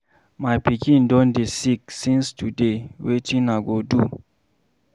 My pikin don dey sick since today, wetin I go do?